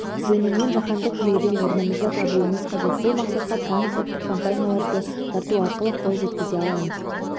жөнінен жаһандық жүйеден орнымызды табуымыз қажет бұл мақсатқа трансұлттық компанияларды тарту арқылы қол жеткізе аламыз